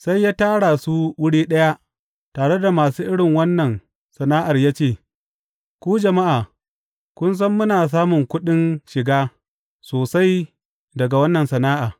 Sai ya tara su wuri ɗaya, tare da masu irin wannan sana’ar ya ce, Ku jama’a, kun san muna samun kuɗin shiga sosai daga wannan sana’a.